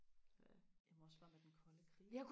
ja jamen også bare med den kolde krig